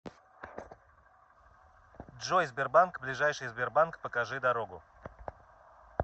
джой сбербанк ближайший сбербанк покажи дорогу